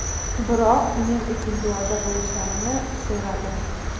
Biroq men uchun duoda bo‘lishlarini so‘radim.